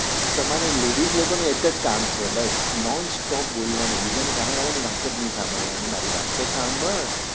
આ તમારે ladies લોકો ને એક જ કામ છે બસ નોન stop બોલવાનું બીજા ની સામે વાળા ની વાત જ નઈ સાંભળવાની મારી વાત તો સાંભળ